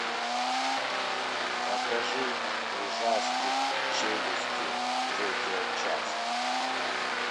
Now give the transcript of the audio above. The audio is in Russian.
покажи ужастик челюсти третья часть